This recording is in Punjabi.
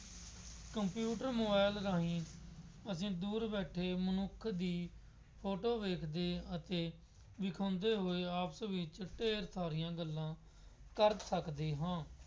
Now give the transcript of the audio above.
ਕੰਪਿਊਟਰ ਮੋਬਾਇਲ ਰਾਹੀਂ ਅਸੀਂ ਦੂਰ ਬੈਠੇ ਮਨੁੱਖ ਦੀ ਫੋਟੋ ਵੇਖਦੇ ਅਤੇ ਵਿਖਾਉਂਦੇ ਹੋਏ ਆਪਸ ਵਿੱਚ ਢੇਰ ਸਾਰੀਆਂ ਗੱਲਾਂ ਕਰ ਸਕਦੇ ਹਾਂ।